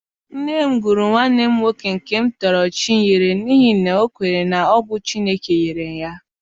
Nne m gụrụ nwanne m nwoke nke m tọrọ Chinyere n’ihi na o kweere na ọ bụ Chineke nyere ya.